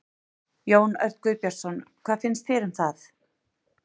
Jón Örn Guðbjartsson: Hvað finnst þér um það?